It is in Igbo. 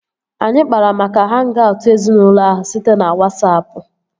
Anyị kpara maka hang-aut ezinaụlọ ahụ site na Wasapụ